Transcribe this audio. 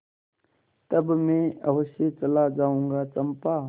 तब मैं अवश्य चला जाऊँगा चंपा